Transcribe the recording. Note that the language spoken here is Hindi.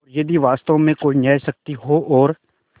और यदि वास्तव में कोई न्यायशक्ति हो और